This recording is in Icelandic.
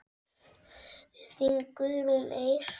Þín Guðrún Eir.